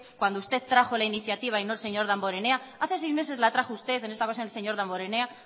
cuando usted trajo la iniciativa y no el señor damborenea hace seis meses la trajo usted en esta ocasión el señor damborenea